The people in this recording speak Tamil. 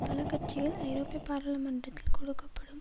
பல கட்சிகள் ஐரோப்பிய பாராளுமன்றத்தில் கொடுக்க படும்